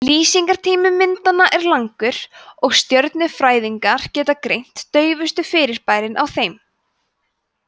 lýsingartími myndanna er langur og stjörnufræðingar geta greint daufustu fyrirbærin á þeim